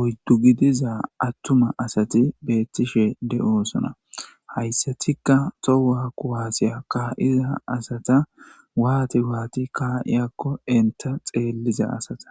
oyddu gidiza atuma asati betishe de'osona haysatika toho kuawase ka'iza asata wani wani ka'izakon ista xeliza asata